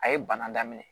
A ye bana daminɛ